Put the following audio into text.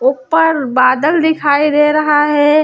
ऊपर बादल दिखाई दे रहा है।